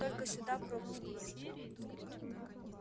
только сюда пропуск нужен